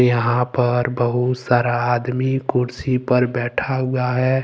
यहां पर बहुत सारा आदमी कुर्सी पर बैठा हुआ है।